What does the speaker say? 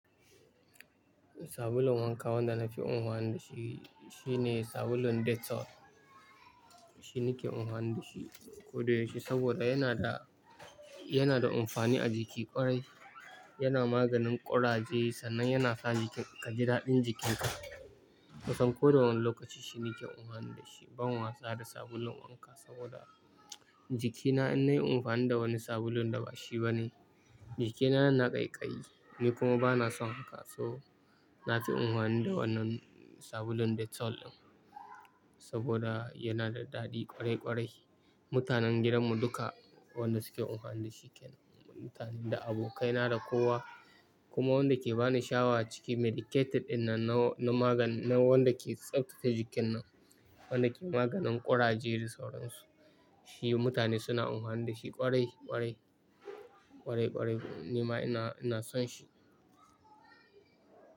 Sabulun wanka wanda nafi anfani da shi shine sabulun dettol. Shi nake anfani da shi ko da yaushe saboda yana da, yana da amfani a jiki ƙwarai. Yana maganin ƙuraje sannan yana sa jikin ka ji daɗin jikinka. Kusan ko da wane lokaci shi nake anfani da shi ban wasa da sabulun wanka saboda jikina in nayi amfani da wani sabulun da ba shi ba ne, jikina yana ƙaiƙayi. Ni kuma bana son haka so nafi anfani da wannan sabulun dettol ɗin saboda yana da daɗi ƙwarai ƙwarai. Mutanen gidanmu duka wanda suke anfani da shi kenan, mutane da abokaina da kowa. Kuma wanda ke ba ni sha'awa ciki medicated ɗin nan na magani na wanda ke tsaftace jikin nan, wanda ke maganin ƙuraje da sauran su. Shi mutane suna anfani da shi ƙwarai ƙwarai, ƙwarai ƙwarai. Ni ma ina, ina son shi.